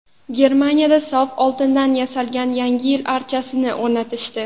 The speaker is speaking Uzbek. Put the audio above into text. Germaniyada sof oltindan yasalgan Yangi yil archasini o‘rnatishdi.